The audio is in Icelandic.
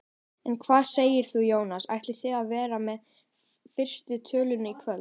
En hvað segir þú Jónas, ætlið þið að vera með fyrstu tölur í kvöld?